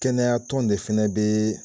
Kɛnɛya tɔn de fɛnɛ be